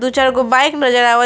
दु चार गो बाइक नजर आवत--